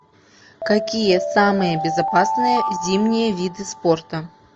какие самые безопасные зимние виды спорта